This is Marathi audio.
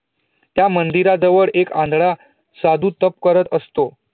त्या मंदिरा जवळ एक आंधळा साधू तप करतं असतो